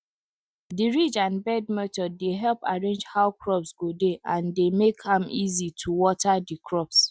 de ridge and bed method dey help arrange how crops go dey and dey make am easier to water de crops